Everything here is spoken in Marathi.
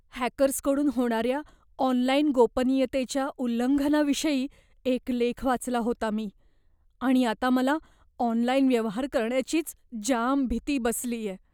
हॅकर्सकडून होणाऱ्या ऑनलाइन गोपनीयतेच्या उल्लंघनाविषयी एक लेख वाचला होता मी आणि आता मला ऑनलाइन व्यवहार करण्याचीच जाम भीती बसलीये.